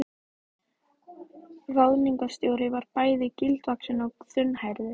Ráðningarstjóri var bæði gildvaxinn og þunnhærður.